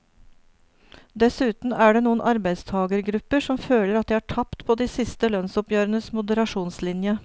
Dessuten er det noen arbeidstagergrupper som føler at de har tapt på de siste lønnsoppgjørenes moderasjonslinje.